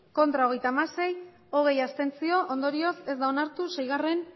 ez hogeita hamasei abstentzioak hogei ondorioz ez da onartu seigarrena